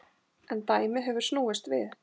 En dæmið hefur snúist við.